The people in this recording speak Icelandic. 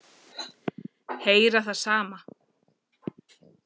Heyra það sama.